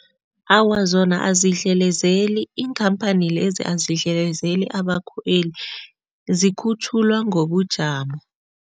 Awa, zona azidlelezeli. Iinkhamphani lezi azidlelezeli abakhweli, zikhutjhulwa ngobujamo.